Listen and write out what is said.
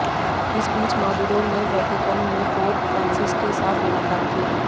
इस बीच मादुरो ने वेटिकन में पोप फ्रांसिस के साथ मुलाकात की